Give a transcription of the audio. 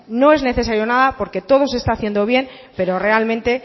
no es necesario nada porque todo se está haciendo bien pero realmente